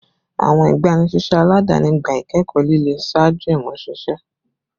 Awọn igbanisiṣẹ aladani gba ikẹkọ lile ṣaaju imuṣiṣẹ